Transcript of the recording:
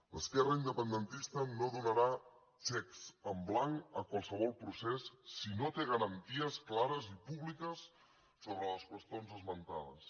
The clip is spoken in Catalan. l’esquerra independentista no donarà xecs en blanc a qualsevol procés si no té garanties clares i públiques sobre les qüestions esmentades